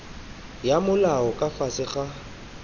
ya molao ka fase ga